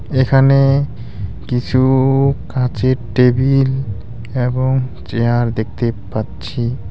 এখানে কিছু কাচের টেবিল এবং চেয়ার দেখতে পাচ্ছি।